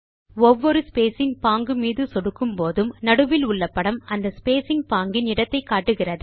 ஒவ்வொரு ஸ்பேசிங் பாங்கு மீது சொடுக்கும் போதும் நடுவில் உள்ள படம் அந்த ஸ்பேசிங் பாங்கின் இடத்தை காட்டுகிறது